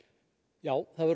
já það verður